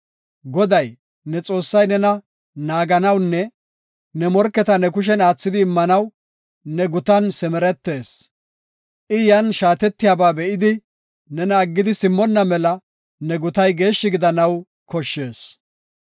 Goday, ne Xoossay nena naaganawunne ne morketa ne kushen aathidi immanaw, ne gutan simeretees. I yan shaatiyaba be7idi, nena aggidi simmonna mela ne gutay geeshshi gidanaw koshshees.